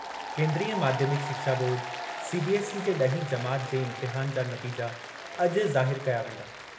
केंद्रीय माध्यमिक शिक्षा बोर्ड सीबीएसई जे ॾहीं जमात जे इम्तिहान जा नतीजा अॼु ज़ाहिर कया वेंदा।